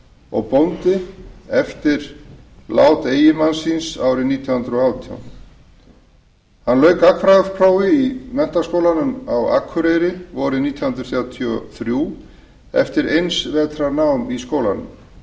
og bóndi eftir lát eiginmanns síns árið nítján hundruð og átján hann lauk gagnfræðaprófi í menntaskólanum á akureyri vorið nítján hundruð þrjátíu og þrjú eftir eins vetrar nám í skólanum